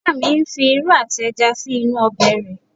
Ìyá mi ń fi irú àti ẹja sí inú ọbẹ̀ rẹ̀